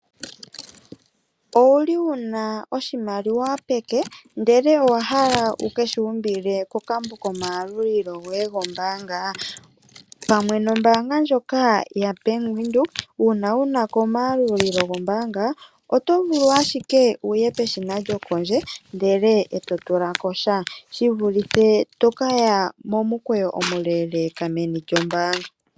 Owuli wuna oshimaliwa peke, ndele owa hala wukeshi umbile kokambo komayalulilo goye gombaanga? Pamwe nombaanga ndjoka yaWindhoek uuna wunako omayalulilo gombaanga oto vulu ashike wuye peshina lyokondje ndele eto tulako sha, shivulithe tokaya momukweyo omuleeleka meni lyombaanga.